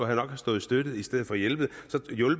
have stået støtte i stedet for hjælpe